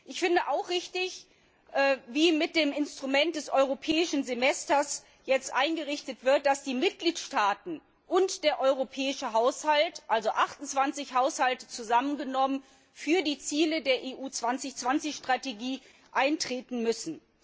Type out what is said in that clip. Ich finde auch richtig, wie mit dem Instrument des Europäischen Semesters jetzt vorgegeben wird, dass die Mitgliedstaaten und der europäische Haushalt also 28 Haushalte zusammengenommen für die Ziele der EU 2020 Strategie eintreten müssen.